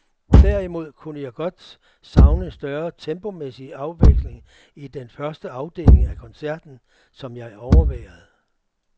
Derimod kunne jeg godt savne større tempomæssig afveksling i den første afdeling af koncerten, som jeg overværede.